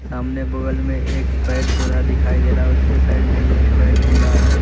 सामने बगल में एक पेड़ पौधा दिखाई दे रहा उसके साइड में भी एक पेड़ पौधा है।